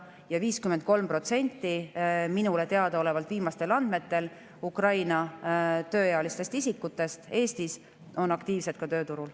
Eestis olevatest Ukraina tööealistest isikutest on 53% minule teadaolevate viimaste andmete põhjal aktiivselt tööturul.